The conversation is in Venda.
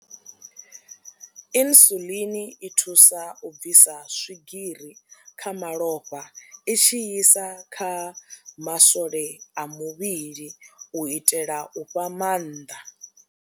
Insulin i thusa u bvisa swigiri kha malofha i tshi isa kha maswole a muvhili u itela u fha maanḓa.